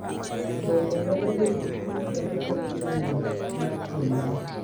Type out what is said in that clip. Bende, nyalo jiwo chuny kendo kelo ng’eyo mar dhi nyime.